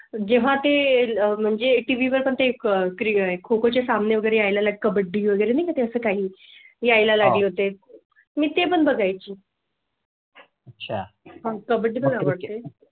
जेव्हा ते अह म्हणजे TV वर पण ते एक क्रिया आहे. खो खो चे सामने वगैरे यायला कबड्डी वगैरे नाही तसं काही यायला लागले होते मी ते पण बघाय ची. अच्छा मग त्या बद्दल मला.